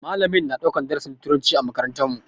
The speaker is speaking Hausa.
Malamin yana ɗaukar darasin turanci a makarantar mu.